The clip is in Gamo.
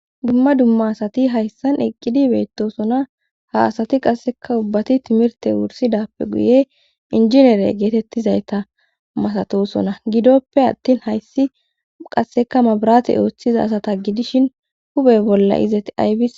Dumma dumma asati hayssan eqqidi beettosona .Ha asati qasseka ubbati timirte wursidappe guye injinere geetettizayta masatosona. Giddoppe attin hayssi qasseka mabirate ooththiza asata gidishin hupe bolla izat aybe.